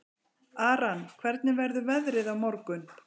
Aran, hvernig verður veðrið á morgun?